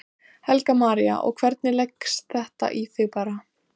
Íslandi, en Guðbrandur var hér jafnan umdeildur maður.